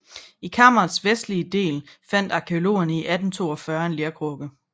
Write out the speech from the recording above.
I kammerets vestlige del fandt arkæologerne i 1842 en lerkrukke